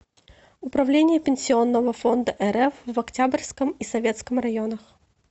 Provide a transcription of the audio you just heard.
управление пенсионного фонда рф в октябрьском и советском районах